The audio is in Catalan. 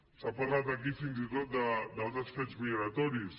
s’ha parlat aquí fins i tot d’altres fets migratoris